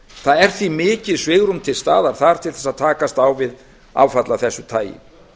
það er því mikið svigrúm til staðar þar til þess að takast á við áfall af þessu tagi